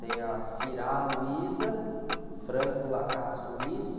Tenho a.